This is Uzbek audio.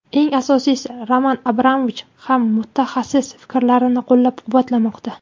Eng asosiysi, Roman Abramovich ham mutaxassis fikrlarini qo‘llab-quvvatlamoqda.